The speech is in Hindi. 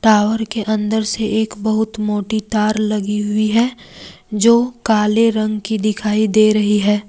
टावर के अंदर से एक बहुत मोटी तार लगी हुई है जो काले रंग की दिखाई दे रही है।